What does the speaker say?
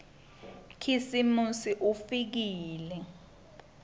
khisimusi ufikile